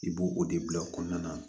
I b'o o de bila o kɔnɔna na